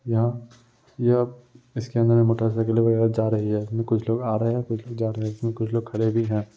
यहां यह इसके अंदर में मोटरसाइकिल वगैरह जा रही है इसमें कुछ लोग आ रहे है कुछ लोग जा रहे है इसमे कुछ लोग खड़े भी हैं |